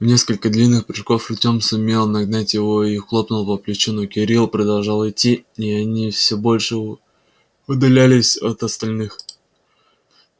в несколько длинных прыжков артём сумел нагнать его и хлопнул по плечу но кирилл продолжал идти и они всё больше удалялись от остальных